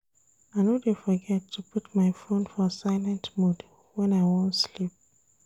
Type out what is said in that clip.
I no dey forget to put my fone for silent mode wen I wan sleep.